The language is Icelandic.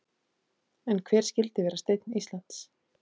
En hver skyldi vera steinn Íslands?